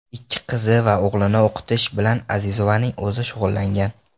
Ikki qizi va o‘g‘lini o‘qitish bilan Azizovaning o‘zi shug‘ullangan.